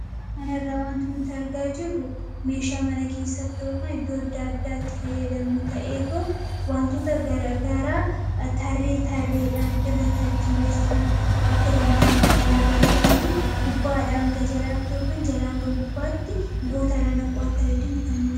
Kanarra wantu nuti argaa jirru meeshaa mana keessattoo kan iddoo adda addaatti fayyadamnu ta'ee too wantoota garaa tarree tarreedhaan irra tartiibeessuu akka dandeenyuf kannu gargaaruu gubbaadha hanga jalaati yookan jala hanga gubbaatti mi'oota irra naquu akka dandeenyuu kannu dandeessisudha.